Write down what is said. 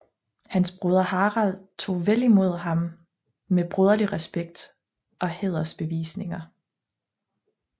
Hans broder Harald tog vel imod ham med broderlig respekt og hædersbevisninger